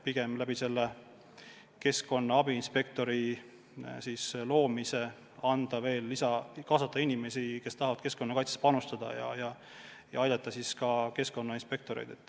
Vahest võiks keskkonna abiinspektori statuudi loomise abil kaasata rohkem inimesi, kes tahavad keskkonnakaitsesse panustada, ja aidata sellega keskkonnainspektoreid.